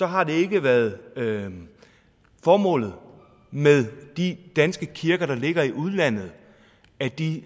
har det ikke været formålet med de danske kirker der ligger i udlandet at de